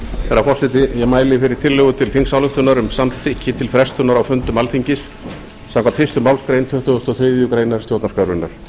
herra forseti ég mæli fyrir tillögu til þingsályktunar um um samþykki til frestunar á fundum alþingis samkvæmt fyrstu málsgrein tuttugustu og þriðju grein stjórnarskrárinnar